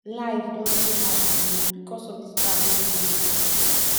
life don too hard for me because of this bad news